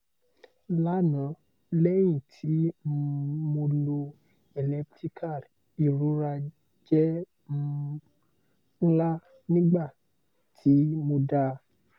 lana lẹhin ti um mo lò elliptical irora jẹ́ um nla nigbati mo dá